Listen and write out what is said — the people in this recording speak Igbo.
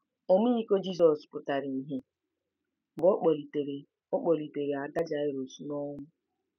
Ọmịiko Jizọs pụtara ìhè mgbe ọ kpọlitere ọ kpọlitere ada Jeirọs n’ọnwụ